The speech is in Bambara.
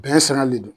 Bɛn siran de do